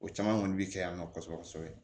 O caman kɔni bɛ kɛ yan nɔ kɔsɛbɛ